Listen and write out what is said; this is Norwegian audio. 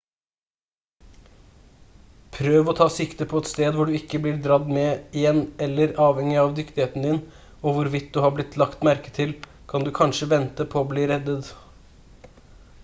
prøv å ta sikte på et sted hvor du ikke blir dradd med igjen eller avhengig av dyktigheten din og hvorvidt du har blitt lagt merke til kan du kanskje vente på å bli reddet